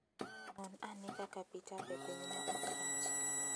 Non ane kaka pi tap e pinyno ok rach.